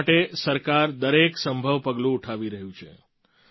તેના માટે સરકાર દરેક સંભવ પગલું ઉઠાવી રહી છે